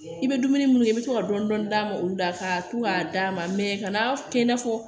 I bɛ dumuni minnu dun i bɛ to ka dɔɔnin dɔɔnin d'a ma olu la ka to k'a d'a ma ka n'a kɛ i n'a fɔ